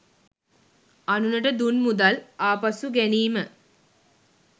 අනුනට දුන් මුදල් ආපසු ගැනීම